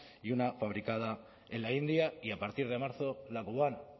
y una fabricada en la india y a partir de marzo la cubana